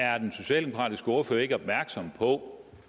er er den socialdemokratiske ordfører ikke opmærksom på